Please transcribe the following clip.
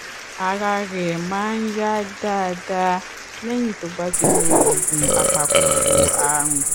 ara rẹ máa yá dáadáa lẹyìn tó bá ti lo oògùn apakòkòrò àrùn